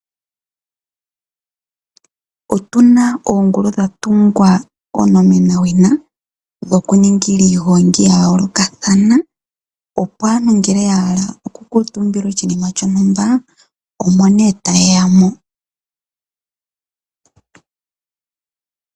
Otuna oongulu dha tungwa onomena wina dhoku ningila iigongi ya yoolokathana. Opo aantu ngele ya hala oku kuutumbila oshinima shontumba omo nee taye ya mo.